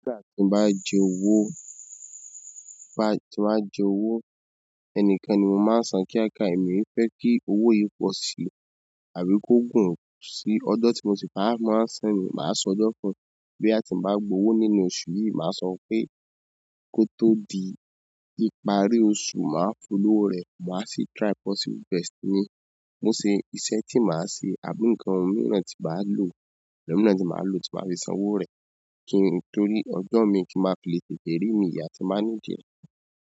Nígbà tí n bá jẹ owó, bá tí n bá jẹ owó, ẹnìkeni máa ń san kíákíá èmi fẹ́ kí owó yìí po sí i àbí kó gùn sí i. Ọjo tí mo ti gbá máa ń san ni, màá sọ ọjo fún un. Bo ya tin ba gba owo nínú oṣù yi, ma so pe, ko to di ìparí oṣù maa fún lowo re, ma si try possible best mi mo ṣe iṣẹ́ tí màá ṣe, àbí nkan ohun mìíràn tí bàá lò, l'òun mìíràn tí màá lò tí màá fi san owó rẹ̀ kí n torí ọjo mi kí n má filé tètè rí mi ya, tí máa ní di ẹ.